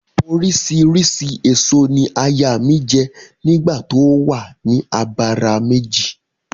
Oríṣiríṣi ẹ̀so ni aya mi jẹ́ nígbà tó o wa ni abara méjì